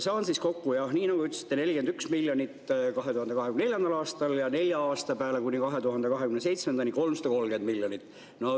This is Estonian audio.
Saan siis kokku jah, nii nagu ütlesite, 41 miljonit 2024. aastal ja nelja aasta peale kuni 2027. aastani 330 miljonit.